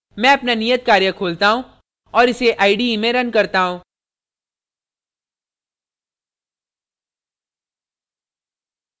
मैं अपना नियत कार्य खोलता हूँ और इस ide में रन करता हूँ